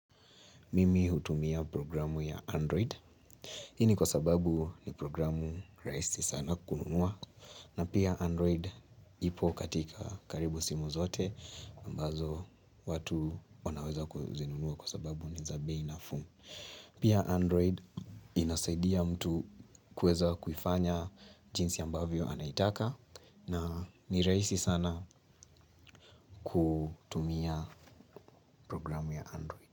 Mimi hutumia programu ya Android. Hini kwa sababu ni programu rahisi sana kununua. Na pia Android ipo katika karibu simu zote. Ambazo watu wanaweza kuzinunua kwa sababu ni za bei nafuu. Pia Android inasaidia mtu kuweza kufanya jinsi ambavyo anaitaka. Na ni rahisi sana kutumia programu ya Android.